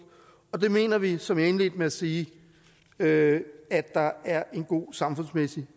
og det mener vi som jeg indledte med at sige at at der er en god samfundsmæssig